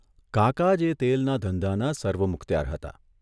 કાકા જ એ તેલના ધંધાના સર્વમુખત્યાર હતા.